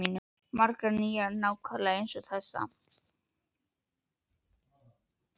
Margar nýjar, nákvæmlega eins og þessa.